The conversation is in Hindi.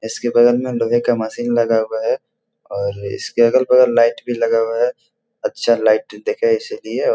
इसके बगल में अंडरवियर का मशीन लगा हुआ है और इसके अगल-बगल लाइट भी लगा हुआ है अच्छा लाइट देखे इसलिए --